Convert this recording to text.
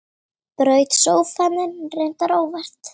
Braut sófann þinn, reyndar óvart.